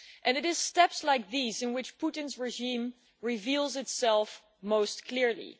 It is steps like these in which Putin's regime reveals itself most clearly.